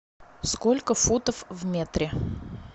сколько футов в метре